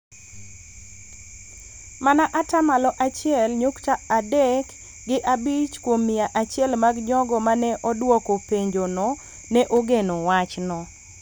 mana ata malo achiel nyukta adek gi abich kuom mia achiel mag jogo ma ne odwoko penjono ne ogeno wachno.